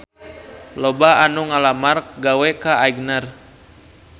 Loba anu ngalamar gawe ka Aigner